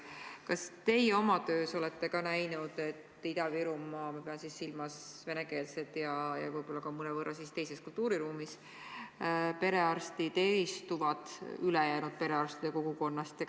Kas teie olete oma töös ka näinud, et Ida-Virumaa perearstid – ma pean silmas venekeelseid ja võib-olla ka mõnevõrra teises kultuuriruumis olevaid arste – eristuvad ülejäänud perearstide kogukonnast?